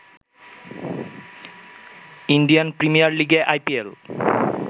Indian premier লিগে IPL